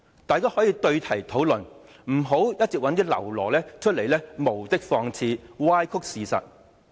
大家可以對題討論，不要一直找一些僂儸出來無的放矢、歪曲事實。